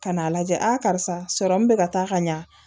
Ka n'a lajɛ karisa bɛ ka taa ka ɲa